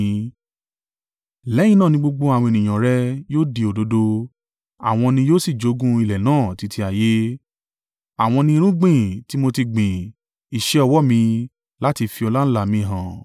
Lẹ́yìn náà ni gbogbo àwọn ènìyàn rẹ yóò di òdodo àwọn ni yóò sì jogún ilẹ̀ náà títí ayé. Àwọn ni irúgbìn tí mo ti gbìn, iṣẹ́ ọwọ́ mi, láti fi ọláńlá mi hàn.